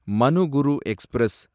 Manuguru express